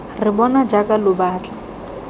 re bona jaaka lo batla